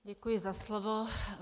Děkuji za slovo.